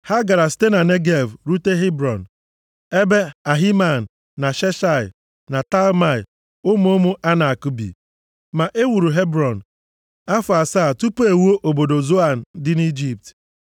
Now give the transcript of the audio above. Ha gara site na Negev rute Hebrọn, ebe Ahiman na Sheshai na Talmai, ụmụ ụmụ Anak bi. (Ma ewuru Hebrọn afọ asaa tupu e wuo obodo Zoan dị nʼIjipt.)